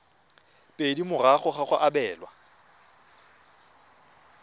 pedi morago ga go abelwa